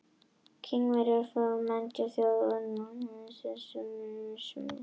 Kínverjar voru forn menningarþjóð og þeir höfðu lagt mikla stund á stærðfræði.